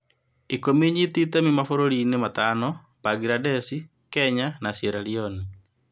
Ikũmi nyiti itemi mabũruriinĩ matano: Mbangirandeci, Kenya na Sieraloni.